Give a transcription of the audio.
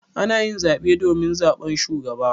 Ana yin zaɓe domin zaɓan shugaba.